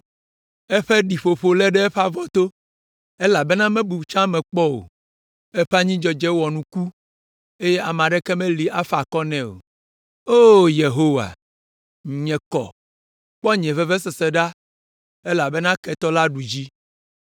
“Eƒe ɖiƒoƒo lé ɖe eƒe avɔto, elabena mebu etsɔ me kpɔ o. Eƒe anyidzedze wɔ nuku eye ame aɖeke meli si afa akɔ nɛ o. “O, Yehowa, nye kɔ, kpɔ nye vevesese ɖa elabena ketɔ la ɖu dzi.”